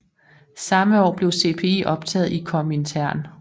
Samme år blev CPI optaget i Komintern